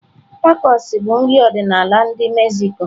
Tacos bụ nri ọdịnala ndi Mexico.